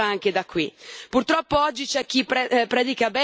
La lotta alla povertà e alle disuguaglianze passa anche da qui.